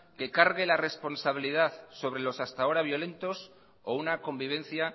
que cargue la responsabilidad sobre los hasta ahora violentos o una convivencia